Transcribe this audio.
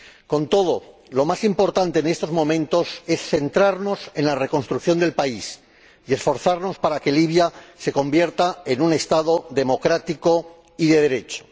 Con todo, lo más importante en estos momentos es centrarnos en la reconstrucción del país y esforzarnos para que Libia se convierta en un Estado democrático y de Derecho.